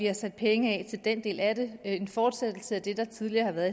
har sat penge af til den del af det en fortsættelse af det der tidligere har været